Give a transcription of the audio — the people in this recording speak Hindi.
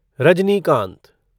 रजनीकांत